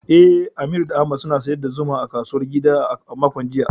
Eh, Aminu da Ahmad sun sayar da zumar su a kasuwar gida a makon jiya.